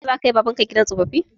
Yau za ka kai baban ka gidan tsoffi?